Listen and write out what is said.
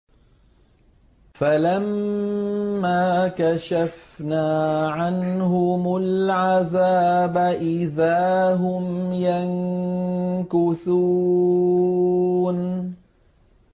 فَلَمَّا كَشَفْنَا عَنْهُمُ الْعَذَابَ إِذَا هُمْ يَنكُثُونَ